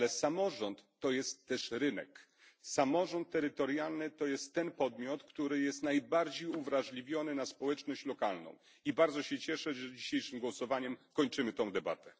Ale samorząd jest również rynkiem, samorząd terytorialny jest tym podmiotem, który jest najbardziej uwrażliwiony na społeczność lokalną, i bardzo się cieszę, że dzisiejszym głosowaniem kończymy tę debatę